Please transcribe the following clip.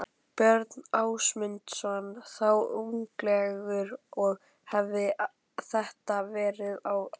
Björn Ásmundsson, þá unglingur og hefir þetta verið á áratugnum